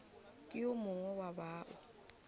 ke yo mongwe wa bao